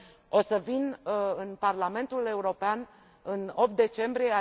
O să vin în Parlamentul European în 8 decembrie.